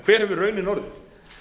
hver hefur raunin orðið